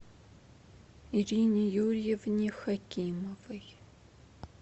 ирине юрьевне хакимовой